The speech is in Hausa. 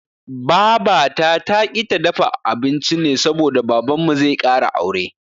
Babata taƙi ta dafa abinci ne saboda Babanmu zai ƙara aure.